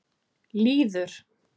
Lýður